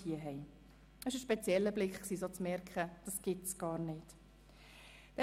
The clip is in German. Es war ein spezieller Anblick, zu sehen, dass es dies dort gar nicht gibt.